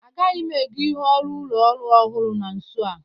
Agaghị m ègó ihe ọrụ ụlọ ọhụrụ na nso a.